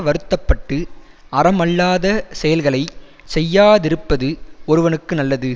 வருத்த பட்டு அறமல்லாத செயல்களை செய்யாதிருப்பது ஒருவனுக்கு நல்லது